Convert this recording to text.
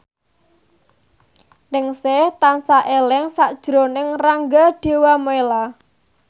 Ningsih tansah eling sakjroning Rangga Dewamoela